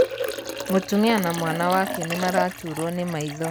Mūtumia na mwana wake nīmaraturwo nī maitho